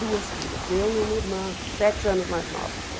Duas filhas, eu e uma irmã, sete anos mais nova que eu.